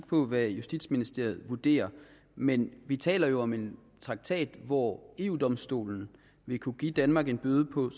på hvad justitsministeriet vurderer men vi taler jo om en traktat hvor eu domstolen vil kunne give danmark en bøde på